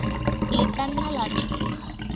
le ke na le toro